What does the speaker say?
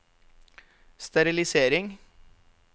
sterilisering